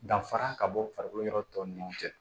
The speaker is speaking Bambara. Danfara ka bɔ farikolo yɔrɔ tɔw ni ɲɔgɔn cɛ